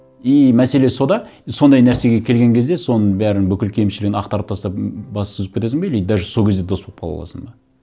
и мәселе сонда и сондай нәрсеге келген кезде соның бәрін бүкіл кемшілігін ақтарып тастап бас сүзіп кетесің бе или даже сол кезде дос болып қала аласың ба